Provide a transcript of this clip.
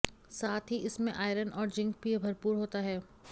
साथ ही इसमें आयरन और जिंक भी भरपूर होता है